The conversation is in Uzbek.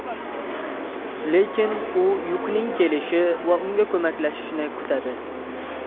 Lekin u Yukining kelishi va unga ko‘maklashishini kutadi.